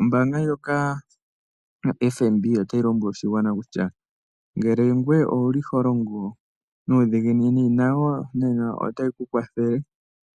Ombaanga ndjoka yoFNB otayi lombwele oshigwana kutya ngele ngoye owu li ho longo nuudhiginini nayo otayi ku kwathele